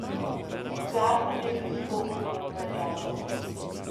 Zakon je že stopil v veljavo.